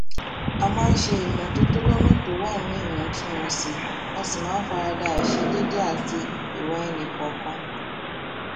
a máa ń ṣe iṣé ìmótótó lónà tó wà níwòntúnwònsì a sì máa n farada àìṣedéédé àti ìwà ẹnìkọọkan